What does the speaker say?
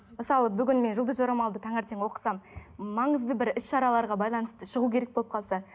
мысалы бүгін мен жұлдыз жорамалды таңертең оқысам маңызды бір іс шараларға байланысты шығу керек болып қалса